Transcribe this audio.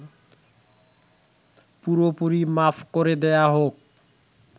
পুরোপুরি মাফ করে দেয়া হোক